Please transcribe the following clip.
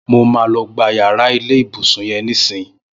Mó mà lọ̀ gbá ilẹ iyàrá ibùsùn yèn nìsín